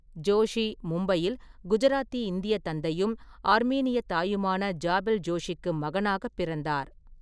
ஜோஷி மும்பையில் குஜராத்தி இந்திய தந்தையும் ஆர்மீனியத் தாயுமான ஜாபெல் ஜோஷிக்கு மகனாகப் பிறந்தார்.